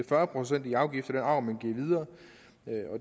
fyrre procent i afgift af den arv man giver videre